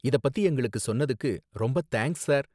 இதப் பத்தி எங்களுக்கு சொன்னதுக்கு ரொம்ப தேங்க்ஸ், சார்